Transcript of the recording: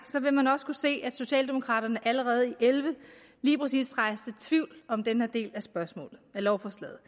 vil man også kunne se at socialdemokraterne allerede i og elleve rejste tvivl om den her del af lovforslaget